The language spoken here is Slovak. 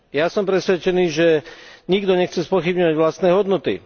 Ja som presvedčený, že nikto nechce spochybňovať vlastné hodnoty.